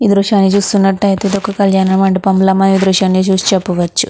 ఈ దృశ్యాన్ని చూస్తున్నటైతే ఇది ఒక కల్యాణమండపం ల మనం ఈ దృశ్యాన్ని చూసి చెప్పవచ్చు.